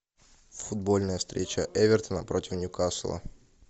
футбольная встреча эвертона против ньюкасла